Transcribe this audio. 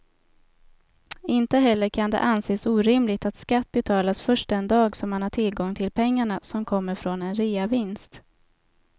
Inte heller kan det anses orimligt att skatt betalas först den dag som man har tillgång till pengarna som kommer från en reavinst.